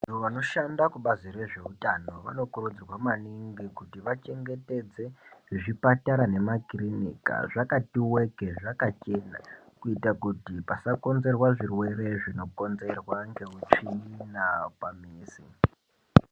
Avo vanoshanda mubazi rezveutano vanokurudzirwa maningi kuti vachengetedze zvipatara nemakurinika zvakati weke zvakachena kuita kuti pasakonzerwa zvirwere zvinokonzerwa ngeutsvina pamizi.